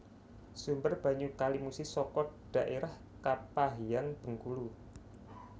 Sumber banyu Kali Musi saka dhaérah Kepahiang Bengkulu